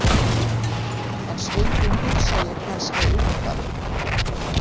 En stundum hugsa ég kannski um það.